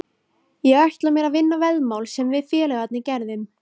Ég ætla mér að vinna veðmál sem við félagarnir gerðum.